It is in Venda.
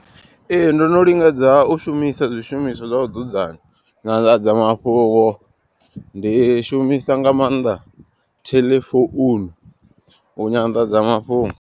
Ee ndo no lingedza u shumisa zwishumiswa zwa u dzudzanya nyanḓadzamafhungo. Ndi shumisa nga maanḓa theḽe founu u nyanḓadzamafhungo.